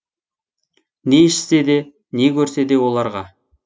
не ішсе де не көрсе де оларға